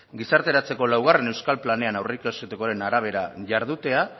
gizarteratzeko laugarren euskal planean aurreikusitakoaren arabera jardutea